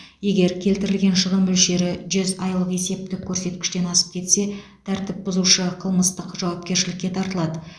егер келтірілген шығын мөлшері жүз айлық есептік көрсеткіштен асып кетсе тәртіп бұзушы қылмыстық жауапкершілікке тартылады